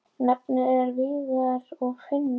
Nafnið er víðar að finna.